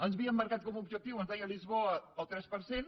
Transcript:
ens havíem marcat com a objectiu ens deia lisboa el tres per cent